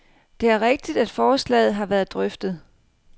Det er rigtigt, at forslaget har været drøftet.